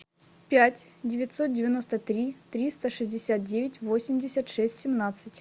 пять девятьсот девяносто три триста шестьдесят девять восемьдесят шесть семнадцать